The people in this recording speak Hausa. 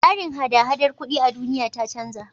Tsarin hada-hadar kuɗi a duniya ta canja.